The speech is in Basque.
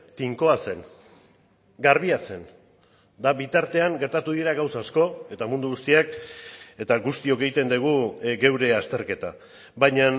tinkoa zen garbia zen eta bitartean gertatu dira gauza asko eta mundu guztiak eta guztiok egiten dugu geure azterketa baina